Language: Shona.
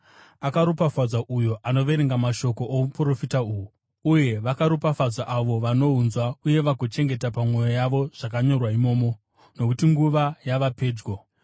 Akaropafadzwa uyo anoverenga mashoko ouprofita uhu, uye vakaropafadzwa avo vanohunzwa uye vagochengeta pamwoyo yavo zvakanyorwa imomo, nokuti nguva yava pedyo.